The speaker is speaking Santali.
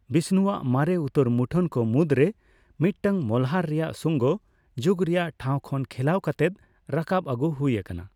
ᱵᱤᱥᱱᱩᱣᱟᱜ ᱢᱟᱨᱮ ᱩᱛᱟᱹᱨ ᱢᱩᱴᱷᱟᱹᱱ ᱠᱚ ᱢᱩᱫᱽᱨᱮ ᱢᱤᱫᱴᱟᱝ ᱢᱚᱞᱦᱟᱨ ᱨᱮᱭᱟᱜ ᱥᱩᱝᱜᱚ ᱡᱩᱜᱽ ᱨᱮᱭᱟᱜ ᱴᱷᱟᱸᱣ ᱠᱷᱚᱱ ᱠᱷᱚᱞᱟᱣ ᱠᱟᱛᱮ ᱨᱟᱠᱟᱵ ᱟᱹᱜᱩ ᱦᱩᱭ ᱟᱠᱟᱱᱟ ᱾